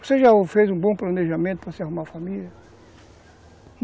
Você já fez um bom planejamento para você arrumar uma família?